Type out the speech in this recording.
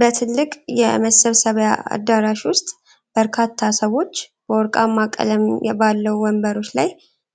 በትልቅ የመሰብሰቢያ አዳራሽ ውስጥ በርካታ ሰዎች በወርቃማ ቀለም ባለው ወንበሮች ላይ